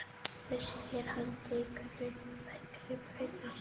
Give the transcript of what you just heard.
Ég veit segir hann og tekur við þykkri brauðsneið.